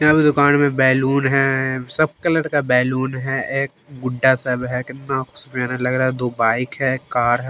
यहां पे दुकान पे बैलून है सब कलर का बैलून है एक गुड्डा सा भी है कितना प्यारा लग रहा है दो बाइक है कार ह --